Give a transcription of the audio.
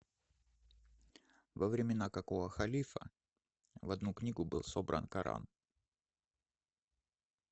во времена какого халифа в одну книгу был собран коран